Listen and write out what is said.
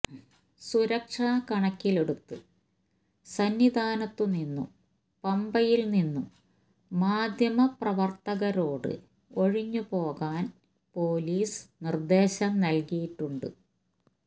സുരക്ഷ കണക്കിലെടുത്ത് സന്നിധാനത്തുനിന്നും പമ്പയിൽനിന്നും മാധ്യമപ്രവർത്തകരോട് ഒഴിഞ്ഞു പോകാൻ പൊലീസ് നിർദ്ദേശം നൽകിയിട്ടുണ്ട്